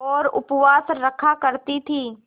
और उपवास रखा करती थीं